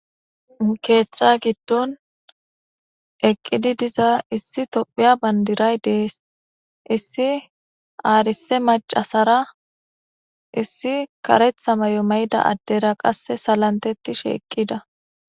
keeththa giddon eqqidi diza issi tophiya bandiray dees issi aarise macasara issi karetha may7o mayda addera qasse salantetish eqqida